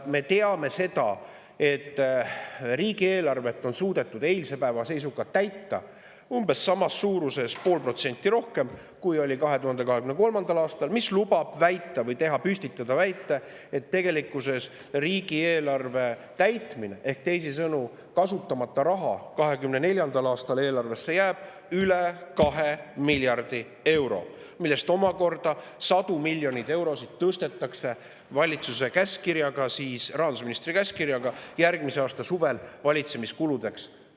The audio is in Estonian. Me teame, et riigieelarvet on suudetud eilse päeva seisuga täita umbes samas suuruses, pool protsenti rohkem, kui 2023. aastal, mis lubab püstitada riigieelarve täitmise kohta väite, et 2024. aasta eelarvest jääb kasutamata üle 2 miljardi euro, millest omakorda sadu miljoneid eurosid tõstetakse valitsuse käskkirjaga, rahandusministri käskkirjaga, järgmise aasta suvel valitsemiskuludesse.